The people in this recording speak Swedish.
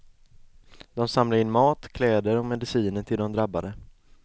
De samlar in mat, kläder och mediciner till de drabbade.